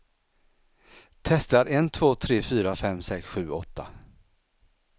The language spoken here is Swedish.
Testar en två tre fyra fem sex sju åtta.